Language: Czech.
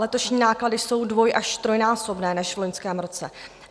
Letošní náklady jsou dvoj- až trojnásobné než v loňském roce.